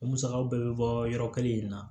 O musakaw bɛɛ bɛ bɔ yɔrɔ kelen in na